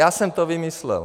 Já jsem to vymyslel.